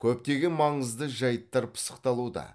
көптеген маңызды жайттар пысықталуда